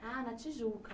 Ah, na Tijuca.